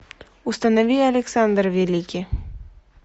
установи александр великий